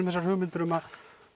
þessar hugmyndir um að